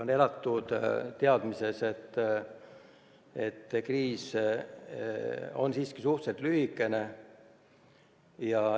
On elatud teadmises, et kriis on siiski suhteliselt lühikene.